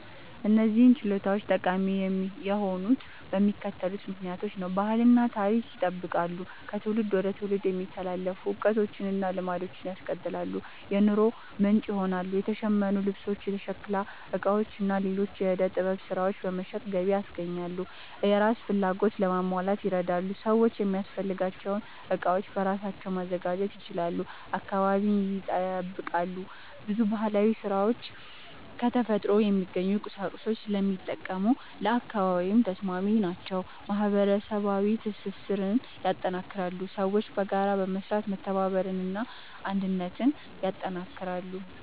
እነዚህ ችሎታዎች ጠቃሚ የሆኑት በሚከተሉት ምክንያቶች ነው፦ ባህልን እና ታሪክን ይጠብቃሉ – ከትውልድ ወደ ትውልድ የሚተላለፉ እውቀቶችን እና ልማዶችን ያስቀጥላሉ። የኑሮ ምንጭ ይሆናሉ – የተሸመኑ ልብሶች፣ የሸክላ ዕቃዎች እና ሌሎች የዕደ ጥበብ ሥራዎች በመሸጥ ገቢ ያስገኛሉ። የራስን ፍላጎት ለማሟላት ይረዳሉ – ሰዎች የሚያስፈልጋቸውን ዕቃዎች በራሳቸው ማዘጋጀት ይችላሉ። አካባቢን ይጠብቃሉ – ብዙ ባህላዊ ሥራዎች ከተፈጥሮ የሚገኙ ቁሳቁሶችን ስለሚጠቀሙ ለአካባቢ ተስማሚ ናቸው። ማህበረሰባዊ ትስስርን ያጠናክራሉ – ሰዎች በጋራ በመስራት መተባበርን እና አንድነትን ያጠናክራሉ።